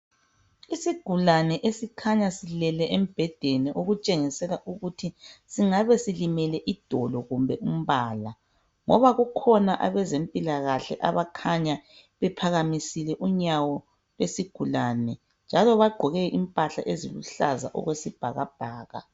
Isigulane esikhanya silele embhedeni okutshengisela ukuthi singabe silimele idolo kumbe umbala. Ngoba kukhona abezempilakahle abakhanya bephakamisile unyawo lwesigulane, njalo bagqoke impahla eziluhlaza okwesibhakabhaka.